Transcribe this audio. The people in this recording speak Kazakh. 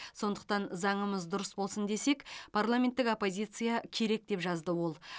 сондықтан заңымыз дұрыс болсын десек парламенттік оппозиция керек деп жазды ол